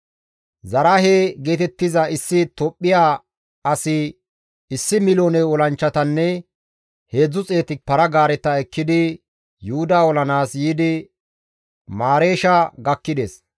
Zaraahe geetettiza issi Tophphiya asi 1,000,000 olanchchatanne 300 para-gaareta ekkidi Yuhuda olanaas yiidi Mareesha gakkides.